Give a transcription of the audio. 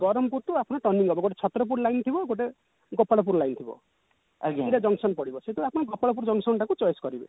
ବରମ୍ପୁର ଠୁ ଆପଣ turning ନବ but ଛତ୍ରପୁର line ଥିବ ଗୋଟେ ଗୋପାଳପୁର line ଥିବ ଗୋଟେ junction ପଡିବ ସେଠୁ ଆପଣ ଗୋପାଳପୁର junction ଟାକୁ choice କରିବେ